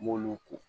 N m'olu ko